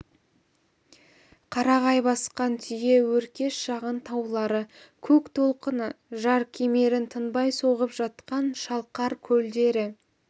қарағай басқан түйе өркеш шағын таулары көк толқыны жар кемерін тынбай соғып жатқан шалқар көлдері